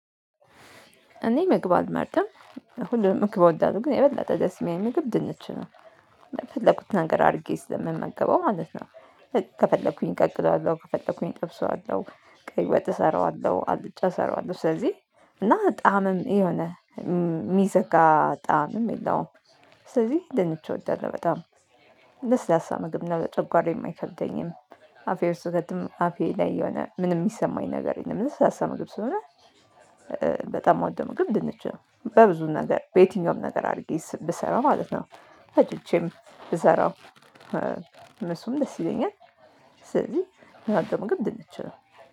እኔ ምግብ አልመርጥም ሁሉም ምግብ እወዳለሁ ግን የበለጠ ደስ የሚለኝ ምግብ ድንች ነው። እንደ ፈለኩት ነገር አድርጌ ስለምመገበው ማለት ነው። ከፈለኩኝ ቀቅለዋለሁ ከፈለኩኝ ጠብሰዋለሁ ቀይ ወጥ እሰራዋለሁ አልጫ እሰራዋለሁ ስለዚህ እና ጣዕምም የሆነ የሚዘጋ ጣዕምም የለውም። ስለዚህ ድንች እወዳለሁ በጣም ለስላሳ ምግብ ነው ለጨጓራየ ማይከብደኝም። አፌ ውስጥ ስከትም አፌ ላይ የሆነ ምንም ሚሰማኝ ነገር የለም ለስላሳ ምግብ ስሆነ። በጣም ምወደው ምግብ ድንች ነው። በብዙ ነገር በየትኛውም ነገር አድርጌ ብሰራ ማለት ነው። ፈጭቼም ብሰራው እነሱም ደስ ይለኛል። ስለዚህ እምወደው ምግብ ድንች ነው